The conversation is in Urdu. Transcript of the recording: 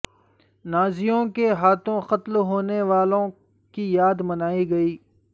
نازیوں کے ہاتھوں قتل ہونے والوں کی یاد منائی گئی